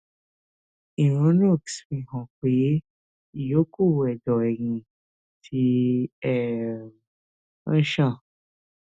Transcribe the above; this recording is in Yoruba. ìrònúx fi hàn pé ìyókù ẹdọ ẹyìn ti um ń ṣàn